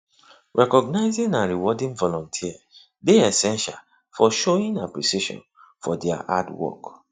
recognizing and rewarding volunters dey essential for showing appreciation for dia hard work